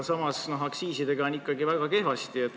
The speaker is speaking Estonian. Samas, aktsiisidega on ikkagi väga kehvasti.